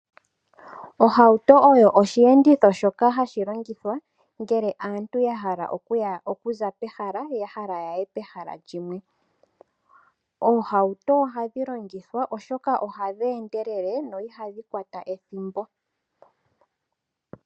Ohauto oyo osheenditho shoka hashi longithwa ngele aantu ya hala okuza pehala ya hala yaye pehala limwe. Oohauto ohadhi longithwa oshoka ohadhi endelele no ihadhi kwata ethimbo.